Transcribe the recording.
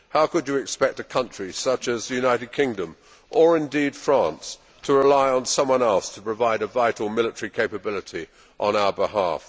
How could you expect a country such as the United Kingdom, or indeed France, to rely on someone else to provide a vital military capability on our behalf?